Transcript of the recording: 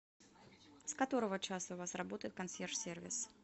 с которого часа у вас работает консьерж сервис